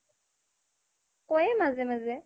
ক'য়েই মাজে মাজে